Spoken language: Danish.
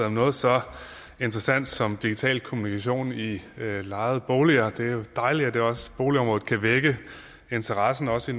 om noget så interessant som digital kommunikation i lejede boliger det er jo dejligt at også boligområdet kan vække interessen også i